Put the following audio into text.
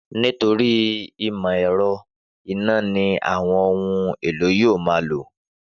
Nítorí ìmọ̀ ẹ̀rọ, iná ni àwọn ohun-èlò yóò ma lò